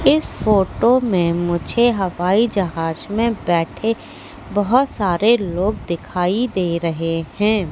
इस फोटो में मुझे हवाई जहाज में बैठे बहोत सारे लोग दिखाई दे रहे हैं।